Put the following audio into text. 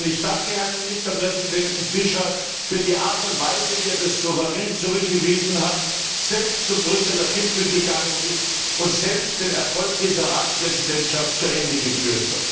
Ich danke Herrn Ministerpräsident Fischer für die Art und Weise, wie er das souverän zurückgewiesen hat, selbst zum Brüsseler Gipfel gegangen ist und selbst diese Ratspräsidentschaft mit Erfolg zu Ende geführt hat!